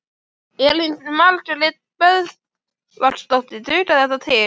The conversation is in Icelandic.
Elín Margrét Böðvarsdóttir: Dugar þetta til?